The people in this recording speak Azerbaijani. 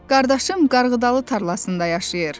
Qardaşım qarğıdalı tarlasında yaşayır.